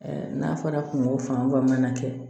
n'a fɔra kungo fan ba mana kɛ